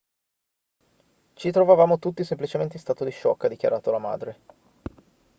ci trovavamo tutti semplicemente in stato di shock ha dichiarato la madre